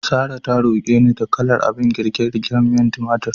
Sarrah ta roke ni da kalar abin girke-girken miyar tumatir.